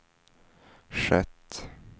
skett